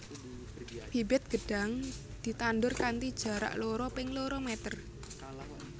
Bibit gedhang ditandur kanthi jarak loro ping loro meter